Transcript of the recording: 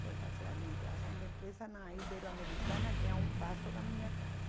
Foi fazer administração de empresa na Iberoamericana, que é um passo da minha casa.